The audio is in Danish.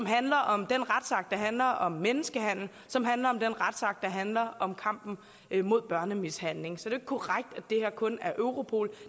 handler om den retsakt der handler om menneskehandel som handler om den retsakt der handler om kampen mod børnemishandling så det korrekt at det her kun er europol